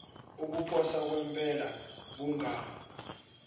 ukuposa kwempela kunga